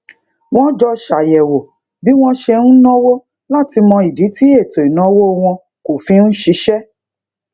wọn jọ ṣàyẹwò bí wọn ṣe ń náwó láti mọ ìdí tí ètò ìnáwó wọn kò fi ń ṣiṣé